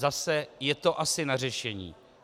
Zase je to asi na řešení.